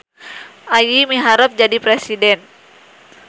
Ayi miharep jadi presiden